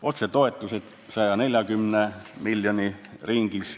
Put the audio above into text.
Otsetoetused on 140 miljoni ringis ...